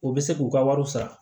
U bɛ se k'u ka wariw sara